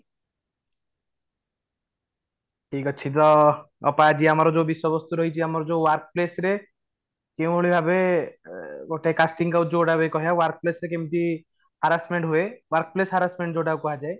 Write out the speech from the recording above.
ଠିକ ଅଛି ତ ଅପା ଆଜି ଆମର ଯୋଉ ବିଷୟବସ୍ତୁ ରହିଛି ଆମର ଯୋଉ workplace ରେ କେଉଁ ଭଳି ଭାବେ ଅ ଗୋଟେ casting couch ଯୌଗୁଡ଼ାକ ହୁଏ କହିବାକୁ ଗଲେ workplace ରେ କେମିତି harassment ହୁଏ workplace harassment ଯୋଉଟାକୁ କୁହାଯାଏ